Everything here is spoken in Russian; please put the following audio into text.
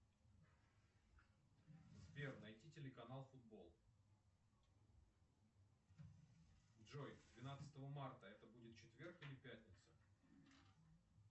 сбер найти телеканал футбол джой двенадцатого марта это будет четверг или пятница